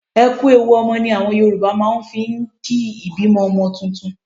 E kú ewu ọmọ ni àwọn Yorùbá máa ń fi ń kí ìbímọ ọmọ tuntun.